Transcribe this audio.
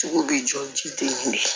Cogo bɛ jɔ ji den de